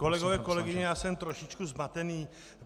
Kolegové, kolegyně, já jsem trošičku zmatený.